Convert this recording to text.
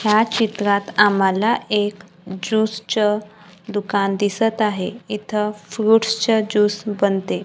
या चित्रात आम्हाला एक ज्यूस चं दुकानं दिसतं आहे. इथं फ्रुट्स चं ज्यूस बनते.